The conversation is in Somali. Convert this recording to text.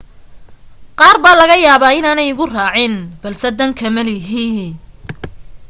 qaar baa laga yaabaa inaanay igu raacin balse dan kama lihi